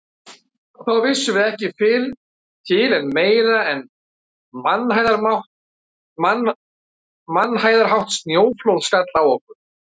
Þá vissum við ekki fyrr til en meira en mannhæðarhátt snjóflóð skall á okkur.